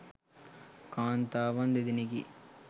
කාන්තාවන් දෙදෙනෙකි.